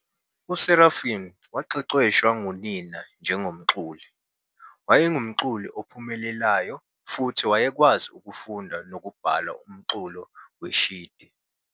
USeraphim waqeqeshwa ngunina njengomculi, wayengumculi ophumelelayo futhi wayekwazi ukufunda nokubhala umculo weshidi.